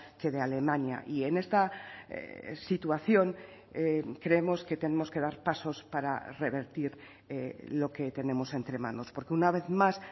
que de alemania y en esta situación creemos que tenemos que dar pasos para revertir lo que tenemos entre manos porque una vez más